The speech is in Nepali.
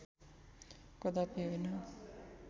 कदापि होइन